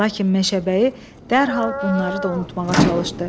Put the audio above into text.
Lakin meşəbəyi dərhal bunları da unutmağa çalışdı.